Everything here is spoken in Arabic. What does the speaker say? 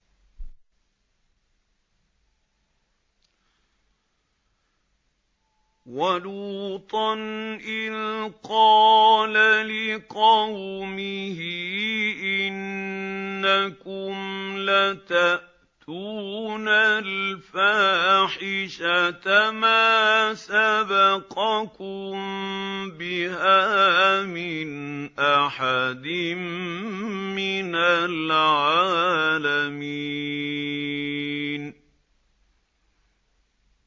وَلُوطًا إِذْ قَالَ لِقَوْمِهِ إِنَّكُمْ لَتَأْتُونَ الْفَاحِشَةَ مَا سَبَقَكُم بِهَا مِنْ أَحَدٍ مِّنَ الْعَالَمِينَ